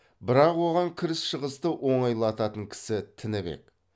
бірақ оған кіріс шығысты оңайлататын кісі тінібек